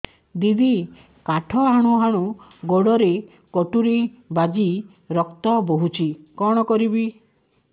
ଦିଦି କାଠ ହାଣୁ ହାଣୁ ଗୋଡରେ କଟୁରୀ ବାଜି ରକ୍ତ ବୋହୁଛି କଣ କରିବି